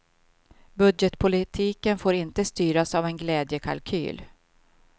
Budgetpolitiken får inte styras av en glädjekalkyl.